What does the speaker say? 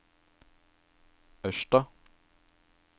Ørsta